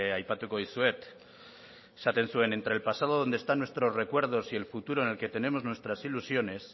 aipatuko dizuet esaten zuen entre el pasado donde están nuestros recuerdos y el futuro en el que tenemos nuestras ilusiones